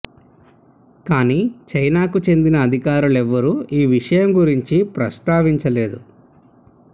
కానీ చైనాకు చెందిన అధికారులు ఎవరూ ఈ విషయం గురించి ప్రస్తావించలేదు